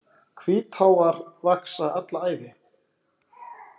Hvítháfar vaxa alla ævi.